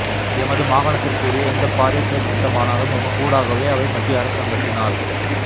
எமது மாகாணத்திற்குரிய எந்த பாரிய செயற்றிட்டமானாலும் எமக்கூடாகவே அவை மத்திய அரசாங்கத்தினால்